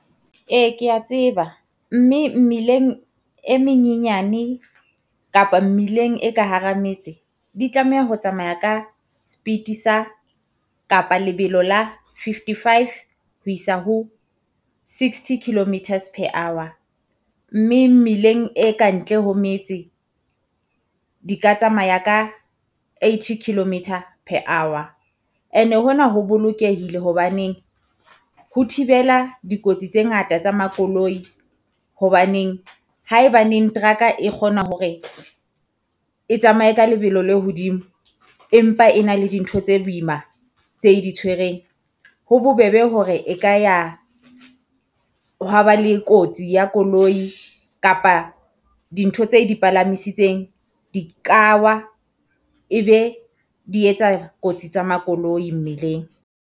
Ee kea tseba, mme mmileng e menyenyane kapa mmileng e ka hara metse, di tlameha ho tsamaya ka speed sa kapa lebelo la fifty-five ho isa ho sixty kilometers per hour. Mme mmileng e kantle ho metse di ka tsamaya ka eighty kilometer per hour. And-e hona ho bolokehile hobaneng ho thibela dikotsi tse ngata tsa makoloi. Hobaneng haebaneng teraka e kgona hore e tsamaye ka lebelo le hodimo, empa e na le dintho tse boima tse e di tshwereng, ho bobebe hore e ka ya ho wa ba le kotsi ya koloi kapa dintho tse e di palamisitseng. Di ka wa e be di etsa kotsi tsa makoloi mmileng.